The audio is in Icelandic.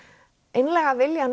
einlæga vilja